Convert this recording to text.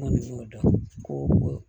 N kɔni y'o dɔn ko